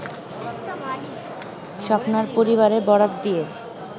স্বপ্নার পরিবারের বরাত দিয়ে